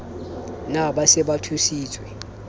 na ba se ba thusitswe